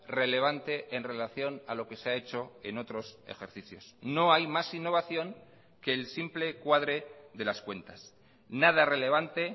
relevante en relación a lo que se ha hecho en otros ejercicios no hay más innovación que el simple cuadre de las cuentas nada relevante